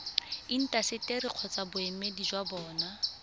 intaseteri kgotsa boemedi jwa bona